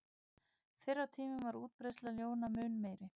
Fyrr á tímum var útbreiðsla ljóna mun meiri.